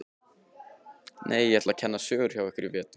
Nei, ég ætla að kenna sögu hjá ykkur í vetur.